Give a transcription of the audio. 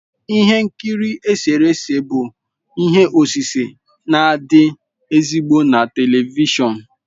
Ihe nkiri eserese bụ ihe osise na-adị ezigbo na telivishọn